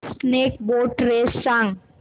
snake boat race सांग